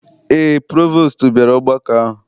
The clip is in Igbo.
Eé, provostu bịara ọgbakọ ahụ.